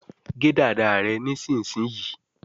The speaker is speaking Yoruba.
gé dada rẹ nísìsiyìí!